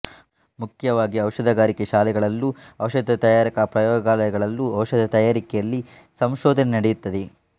ಮುಖ್ಯವಾಗಿ ಔಷಧಗಾರಿಕೆ ಶಾಲೆಗಳಲ್ಲೂ ಔಷಧ ತಯಾರಕರ ಪ್ರಯೋಗಾಲಯ ಗಳಲ್ಲೂ ಔಷಧ ತಯಾರಿಕೆಯಲ್ಲಿ ಸಂಶೋಧನೆ ನಡೆಯುತ್ತದೆ